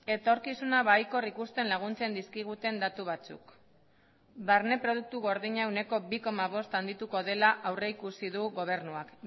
etorkizuna baikor ikusten laguntzen dizkiguten datu batzuk barne produktu gordina ehuneko bi koma bost handituko dela aurrikusi du gobernuak